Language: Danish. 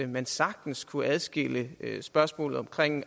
man sagtens kunne adskille spørgsmålet om